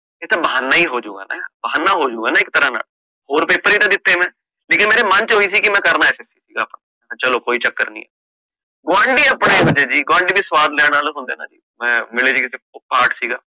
ਇਹ ਤਾ ਬਹਾਨਾ ਹੀ ਹੋਜੂ ਗਾ ਬਹਾਨਾ ਹੀ ਹੋਜੂ ਗਾ ਨਾ ਇਕ ਤਰਾਂ ਦਾ ਹੋਰ paper ਵੀ ਤਾ ਦਿਤੇ ਮੈਂ ਲੇਕਿਨ ਮੇਰੇ ਮੰਨ ਚ ਓਹੀ ਸੀ ਕਿ ਮੈ ਕਰਨਾ SSC ਦਾ paper ਆ ਮੈਂ ਕਹ ਕੋਈ ਚੱਕਰ ਨੀ ਗੁਆਂਢੀ ਸਵਾਦ ਲੈਣ ਆਲੇ ਹੁੰਦੇ ਨੇ ਮਿਲੇ ਸੀ ਕੀਤੇ ਪਾਠ ਸੀਗਾ